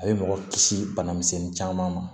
A bɛ mɔgɔ kisi bana misɛnnin caman ma